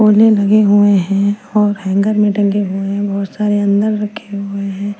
लगे हुए हैं और हैंगर मे टंगे हुए हैं बहोत सारे अंदर रखे हुए हैं।